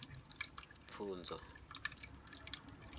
pfunzo